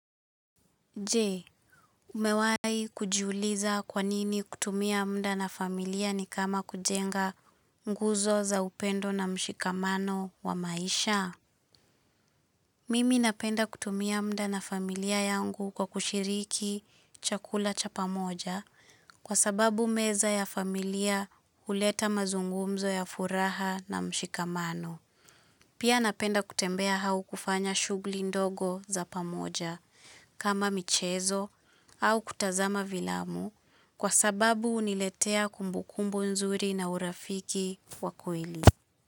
Jee, umewai kujjuliza kwa nini kutumia muda na familia ni kama kujenga nguzo za upendo na mshikamano wa maisha? Mimi napenda kutumia muda na familia yangu kwa kushiriki chakula cha pamoja kwa sababu meza ya familia uleta mazungumzo ya furaha na mshikamano. Pia napenda kutembea au kufanya shughuli ndogo za pamoja kama michezo au kutazama vilamu kwa sababu uniletea kumbukumbu nzuri na urafiki wa kweli.